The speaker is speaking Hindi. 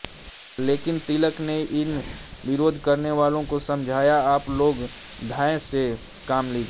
लेकिन तिलक ने इन विरोध करनेवालो को समझाया आप लोग धैर्य से काम लीजिए